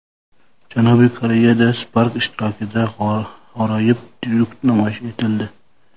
Janubiy Koreyada Spark ishtirokida g‘aroyib tryuk namoyish etildi .